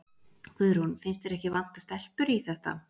Guðrún: Finnst þér ekki vanta stelpur í þetta?